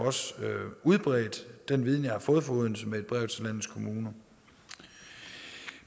udbredt den viden jeg har fået fra odense med et brev til landets kommuner